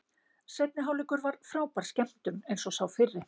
Seinni hálfleikur var frábær skemmtun eins og sá fyrri.